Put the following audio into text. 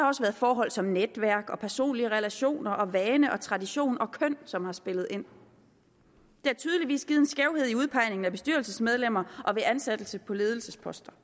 også været forhold som netværk og personlige relationer og vane og tradition og køn som har spillet ind det har tydeligvis givet en skævhed ved udpegning af bestyrelsesmedlemmer og ved ansættelse på ledelsesposter